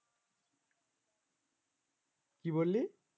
কি বললি?